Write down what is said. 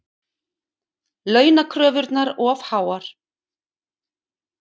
Launakröfurnar of háar